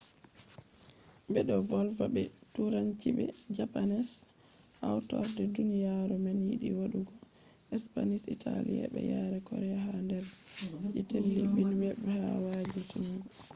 be do volwa be turanci be japanese hautorde duniyaru man yidi wadugo spanish italian be yare korea ha der je telebijin web be wayaji jungo